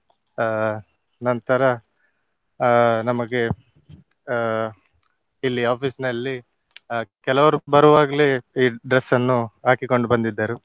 ಅಹ್ ನಂತರ ಅಹ್ ನಮಗೆ ಅಹ್ ಇಲ್ಲಿ office ನಲ್ಲಿ ಅಹ್ ಕೆಲವರು ಬರುವಾಗ್ಲೆ ಈ dress ಅನ್ನು ಹಾಕಿಕೊಂಡು ಬಂದಿದ್ದರು.